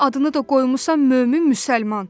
Adını da qoymusan mömin müsəlman.